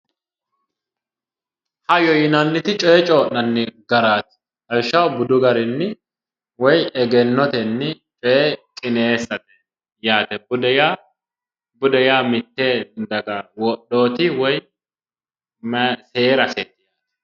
Hayyo yinnanniti coyee coyi'nanni garaati, lawishshaho budu garinni woyi egennotenni coye qineessate yaate, bude yaa mite daga wodhoti woyi seeraseti yaate